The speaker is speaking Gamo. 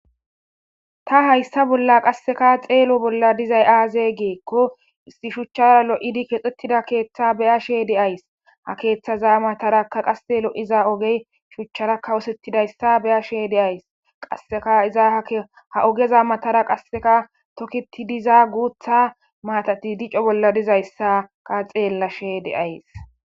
ta hayssa bolla qasseka xeelo bolla dizay aaze geekko isti shuchchara lo7idi kexxetida keeththa beya she de ays ha keeththaza mataraka qase lo7iza ogey shuchchara kawosettidayssa beya she deays qasseka iza ha ogeza matara qasseka toketi diza guutha maatati dico bolla dizayssaka xeellashe de7ays